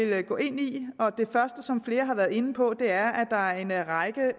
jeg vil gå ind i og det første som flere har været inde på er at der er en række